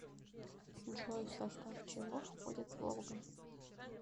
джой в состав чего входит волга